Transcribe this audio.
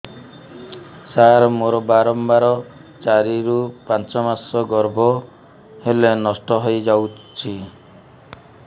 ସାର ମୋର ବାରମ୍ବାର ଚାରି ରୁ ପାଞ୍ଚ ମାସ ଗର୍ଭ ହେଲେ ନଷ୍ଟ ହଇଯାଉଛି